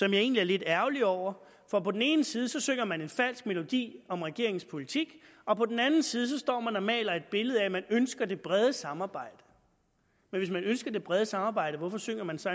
jeg egentlig er lidt ærgerlig over for på den ene side synger man en falsk melodi om regeringens politik og på den anden side står man og maler et billede af at man ønsker det brede samarbejde men hvis man ønsker det brede samarbejde hvorfor synger man så